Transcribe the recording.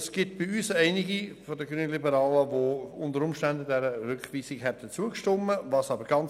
Es gibt einige Grünliberale, die unter Umständen der Rückweisung zugestimmt hätten.